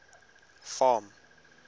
farm